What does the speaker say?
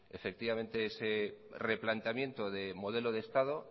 ese replanteamiento de modelo de estado